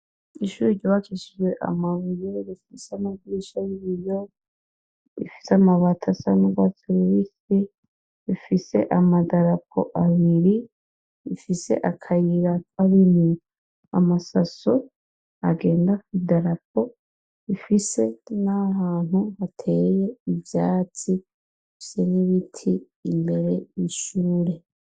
Ishure ryubakishijwe amabuye rifise amadirisha yibiyo rifise amabati asize rifise amadarapo abiri rifise akayira kanini amasaso agenda kwi darapo rifise nahantu hateye ivyatsi rifise nibiti imbere yishure